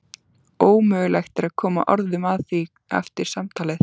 Ómögulegt að koma orðum að því eftir samtalið.